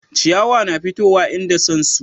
ciyawa na fitowa inda san su